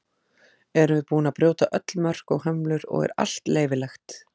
Erum við búin að brjóta öll mörk og hömlur og er allt leyfilegt?